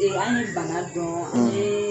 Eee an ɲiii bana dɔɔn; ; N ɲeee